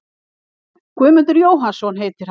Guðmundur Jóhannsson heitir hann.